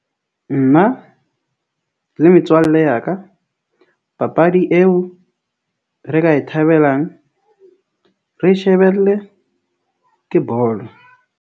Nna le metswalle ya ka papadi eo re ka e thabelang, re shebelle ke bolo.